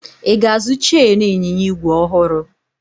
Ị ga-azụ cheenu ịnyịnya igwe ọhụrụ?